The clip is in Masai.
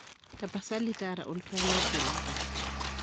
tapasali taara oltwaa logilata